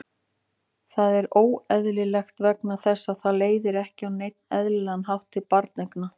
Það er óeðlilegt vegna þess að það leiðir ekki á neinn eðlilegan hátt til barneigna.